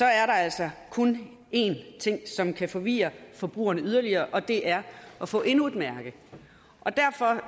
er der altså kun én ting som kan forvirre forbrugerne yderligere og det er at få endnu et mærke derfor